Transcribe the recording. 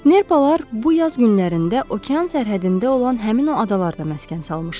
Nerplar bu yaz günlərində okean sərhədində olan həmin o adalarda məskən salmışdılar.